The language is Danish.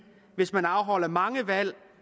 hvis man afholder mange valg